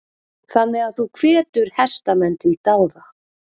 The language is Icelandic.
Þannig að þú hvetur hestamenn til dáða?